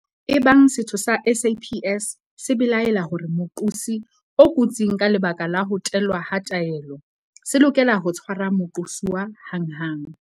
Ebang setho sa SAPS se belaela hore moqosi o kotsing ka lebaka la ho tellwa ha taelo, se lokela ho tshwara moqosuwa hanghang.